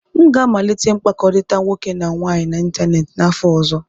M ga-amalite mkpakọrịta nwoke na nwaanyị n'ịntanetị n'afọ ọzọ.